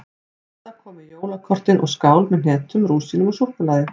Dadda kom með jólakortin og skál með hnetum, rúsínum og súkkulaði.